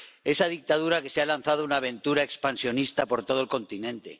Esa dictadura que se ha lanzado a una aventura expansionista por todo el continente